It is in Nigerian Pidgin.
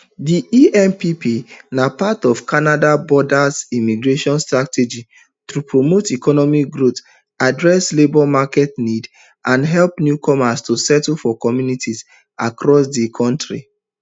diempp na part of canada broader immigration strategyto promote economic growth address labour market needs and help newcomers to settle for communities across di kontri